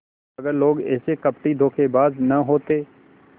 अगर लोग ऐसे कपटीधोखेबाज न होते